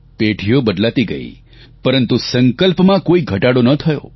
પેઢીઓ બદલાતી ગઇ પરંતુ સંકલ્પમાં કોઇ ઘટાડો ના થયો